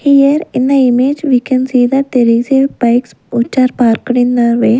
here in the image we can see that there is a bikes which are parked in the way.